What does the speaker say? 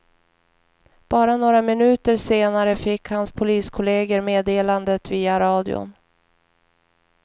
Bara några minuter senare fick hans poliskolleger meddelandet via radion.